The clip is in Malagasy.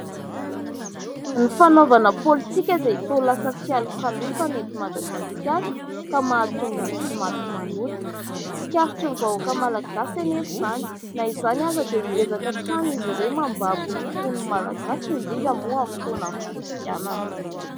Ny fanaovana politika dia toa lasa fialokalofa eto Madagasikara ka mahatonga ny tsy mati-manota. Tsikaritry ny vahoaka malagasy anefa izany, na izany aza dia miezaka hatrany izy ireo mambabo ny fon'ny malagasy indrindra moa amin'ny fotoanan' ny fifidianana.